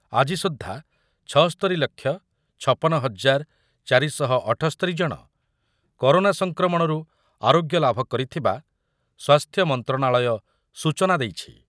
ଆଜି ସୁଦ୍ଧା ଛସ୍ତୋରି ଲକ୍ଷ ଛପନ ହଜାର ଚାରି ଶହ ଅଠସ୍ତୋରି ଜଣ କରୋନା ସଂକ୍ରମଣରୁ ଆରୋଗ୍ୟଲାଭ କରିଥିବା ସ୍ୱାସ୍ଥ୍ୟ ମନ୍ତ୍ରଣାଳୟ ସୂଚନା ଦେଇଛି।